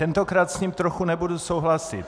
Tentokrát s ním trochu nebudu souhlasit.